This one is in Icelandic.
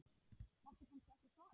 Máttu kannski ekki svara því?